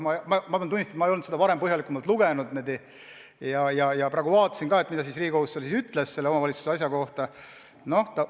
Pean tunnistama, ma ei olnud seda varem põhjalikumalt lugenud, ja nüüd ma vaatasin, mida siis Riigikohus ütles omavalitsuste kontrollimise kohta.